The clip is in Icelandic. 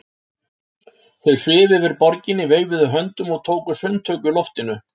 Þau svifu yfir borginni, veifuðu höndunum og tóku sundtök í loftinu.